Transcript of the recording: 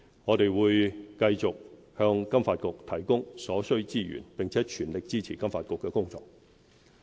我們會繼續向金發局提供所需資源，並全力支持金發局的工作。